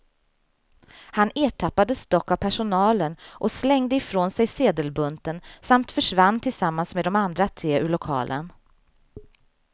Han ertappades dock av personalen och slängde ifrån sig sedelbunten samt försvann tillsammans med de andra tre ur lokalen.